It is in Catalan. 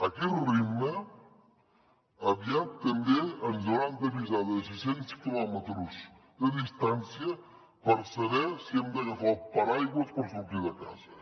a aquest ritme aviat també ens hauran d’avisar des de sis cents quilòmetres de distància per saber si hem d’agafar el paraigua per sortir de casa